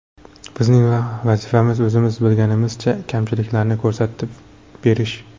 Bizning vazifamiz, o‘zimiz bilganimizcha kamchiliklarni ko‘rsatib berish.